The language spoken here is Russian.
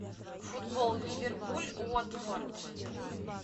футбол ливерпуль уотфорд